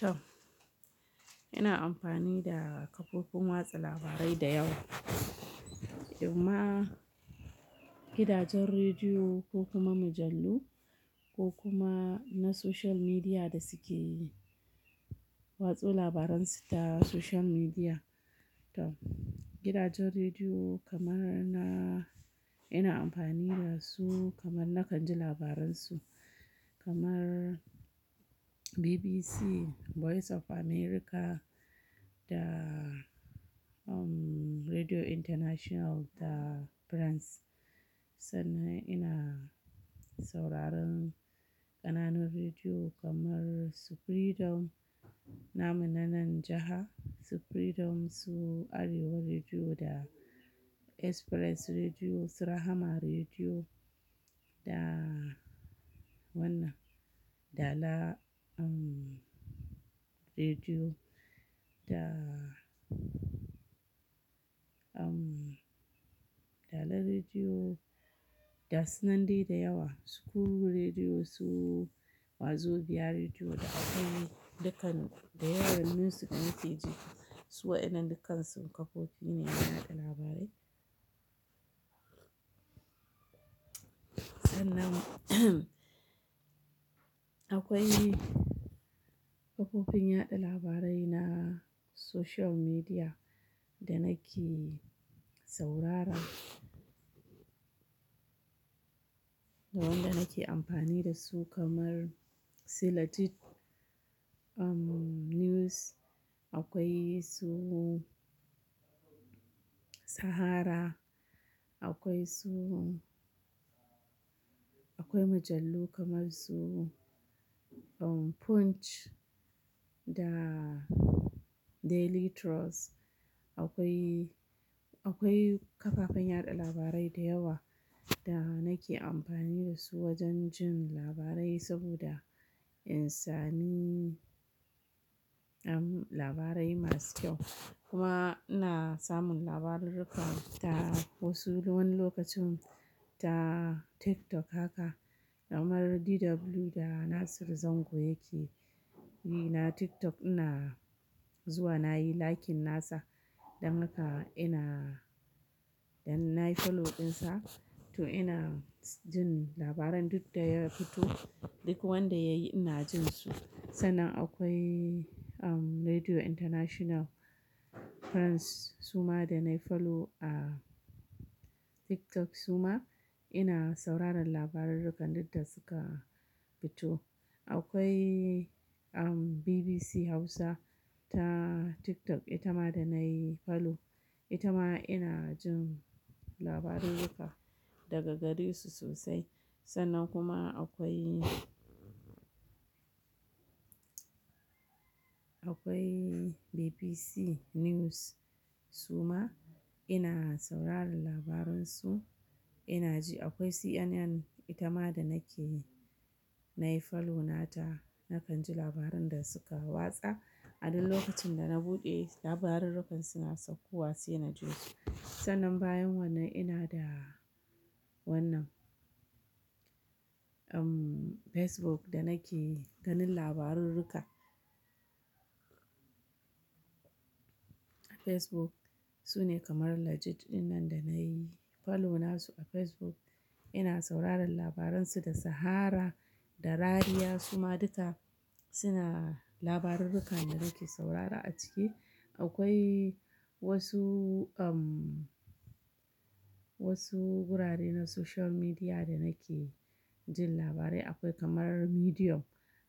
To, ina amfani da kafofin watsa labarai da yawa, kuma gidajen rediyo ko kuma mujallu ko kuma na social media da suke watsa labaran su ta social media. To, gidajen rediyo kamar na ina amfani da su kamar nakan ji labaran su kamar BBC, Voice of America da, um, Radio International da France. Sannan ina sauraron ƙananan rediyo kamar su freedom, namu nanan jiha Su freedom su Arewa Rediyo da Express Rediyo, Su Rahama Rediyo da wannan Dala, um, Rediyo da, um, Dala Rediyo ga sunan dai da yawa, School Rediyo su Wazobia Rediyo da akwai dukkan su da yawan music message. Su waɗannan dukkansu kafofi ne na yaɗa labarai. Sannan akwai kafofin yaɗa labarai na social media da nake saurara da wanda nake amfani da su kamar silajit, um, news. Akwai su Sahara, akwai su-- akwai mujallu kamar su, um, Punch da Daily Trust. Akwai, akwai kafafen yaɗa labarai da yawa da nake amfani da su wajen jin labarai saboda insani, um, labarai masu kyau. Kuma ina samun labarurruka da wasu wani lokacin ta TikTok haka kamar DW da Nasir Zango yake yi na TikTok ina zuwa nayi like nasa don haka ina-- don nayi follow dinsa to ina jin labaran duk da ya fito, duk wanda yayi ina jin su. Sannan akwai, um, Radio International France suma da nayi follow a TikTok suma ina sauraron labarurrukan duk da suka fito. Akwai, um, BBC Hausa ta TikTok ita ma da nayi follow. Ita ma ina jin labarurruka daga gari su sosai. Sannan kuma akwai, akwai BBC News suma ina sauraron labaran su ina ji. Akwai CNN ita ma da nake nayi follow nata nakan ji labaran da suka watsa. A duk lokacin da na buɗe labarurrukan suna saukowa saina ji. Sannan bayan wannan ina da wannan, um, Facebook da nake ganin labarurruka. Facebook su ne kamar legit dinnan da nayi follow nasu a Facebook ina sauraron labaran su da Sahara da Rariya suma duka suna labarurruka da nake saurara a ciki. Akwai wasu, um, wasu gurare na social media da nake jin labarai. Akwai kamar Medium,